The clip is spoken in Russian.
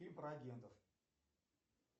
и про агентов